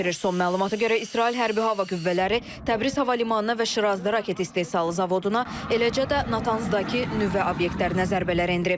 Son məlumata görə İsrail hərbi hava qüvvələri Təbriz hava limanına və Şirazda raket istehsalı zavoduna, eləcə də Natanzdakı nüvə obyektlərinə zərbələr endirib.